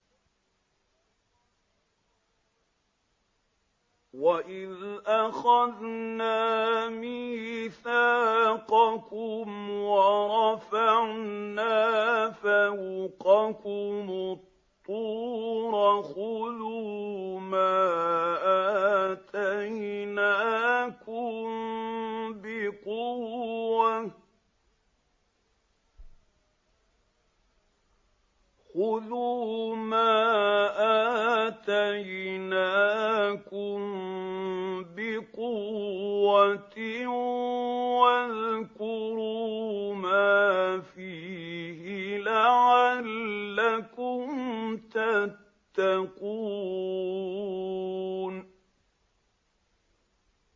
وَإِذْ أَخَذْنَا مِيثَاقَكُمْ وَرَفَعْنَا فَوْقَكُمُ الطُّورَ خُذُوا مَا آتَيْنَاكُم بِقُوَّةٍ وَاذْكُرُوا مَا فِيهِ لَعَلَّكُمْ تَتَّقُونَ